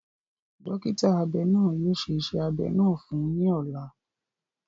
Dọkita abẹ naa yóò ṣe iṣẹ abẹ naa fun u ni ọla.